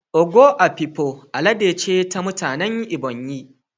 "Ogo Afikpo" al'ada ce ta mutanen Ebonyi